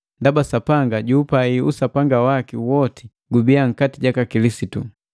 Ndaba Sapanga jukupai usapanga waki woti gubiya nkati Kilisitu.